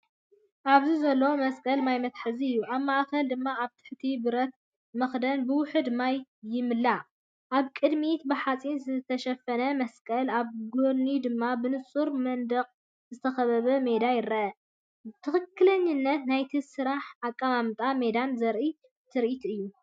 ኣብዚ ዘሎ መስቀል ማይ መትሓዚ እዩ። ኣብ ማእኸል ድማ ኣብ ትሕቲ ብረት መኽደኒ ብውሑድ ማይ ይምላእ፤ ኣብ ቅድሚት ብሓጺን ዝተሸፈነ መስቀል ኣብ ጎድኑ ድማ ብንጹር መንደቕ ዝተኸበበ ሜዳ ይርአ። ትኽክለኛነት ናይቲ ስራሕን ኣቀማምጣ ሜዳን ዘርኢ ትርኢት እዩ።